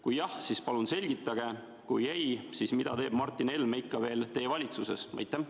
Kui jah, siis palun selgitage, kui ei, siis mida teeb Martin Helme ikka veel teie valitsuses?